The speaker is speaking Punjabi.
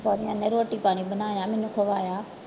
ਸਹੁਰਿਆਂ ਨੇ ਰੋਟੀ ਪਾਣੀ ਬਣਾਇਆ ਮੈਨੂੰ ਖਵਾਇਆ।